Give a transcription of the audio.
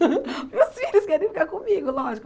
Meus filhos querem ficar comigo, lógico.